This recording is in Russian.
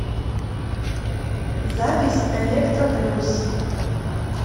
запись электро плюс